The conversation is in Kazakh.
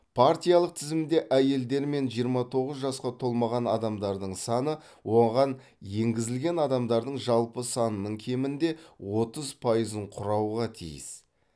партиялық тізімде әйелдер мен жиырма тоғыз жасқа толмаған адамдардың саны оған енгізілген адамдардың жалпы санының кемінде отыз пайызын құрауға тиіс